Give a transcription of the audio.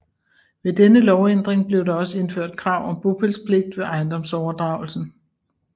Ved denne lovændring blev der også indført krav om bopælspligt ved ejendomsoverdragelsen